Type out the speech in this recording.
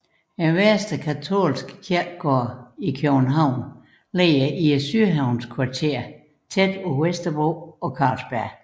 Vestre Katolske Kirkegård i København ligger i sydhavnskvarteret tæt på Vesterbro og Carlsberg